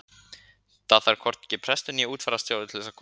þar þarf hvorki prestur né útfararstjóri að koma að